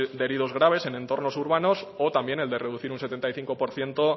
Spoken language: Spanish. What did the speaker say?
de heridos graves en entornos urbanos o también el de reducir un setenta y cinco por ciento